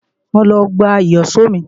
Mo lọ gba Ìyíṣòó mi